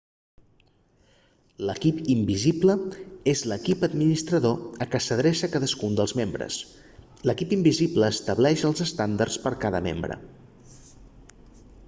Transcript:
l'"equip invisible és l'equip administrador a què s'adreça cadascun dels membres. l'equip invisible estableix els estàndards per a cada membre